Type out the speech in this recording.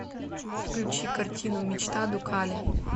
включи картину мечта дукале